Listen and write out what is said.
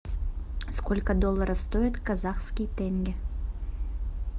сколько долларов стоит казахский тенге